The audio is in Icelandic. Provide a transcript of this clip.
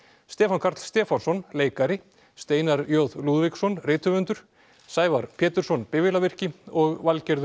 Stefán Karl Stefánsson leikari Steinar j Lúðvíksson rithöfundur Sævar Pétursson bifvélavirki og Valgerður